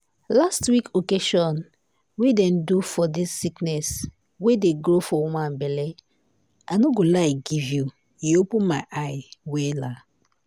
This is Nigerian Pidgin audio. last week occasion wey dem do for dis sickness wey dey grow for woman belle i no go lie you e open my eyes wella.